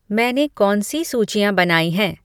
मैंने कौन सी सूचियाँ बनाई हैं